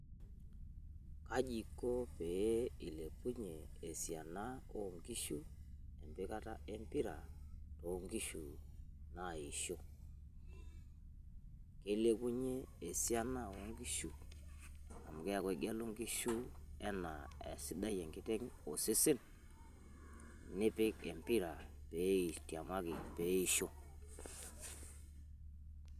The Vo started by reading the Question.